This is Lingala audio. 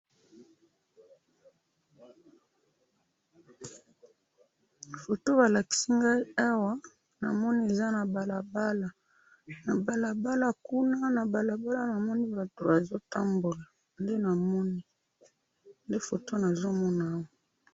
Photo balakisi nga, eza balabala, pe na moni batu bazo tambola na balabala yango.